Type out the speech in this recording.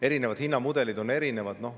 Erinevad hinnamudelid on erinevad.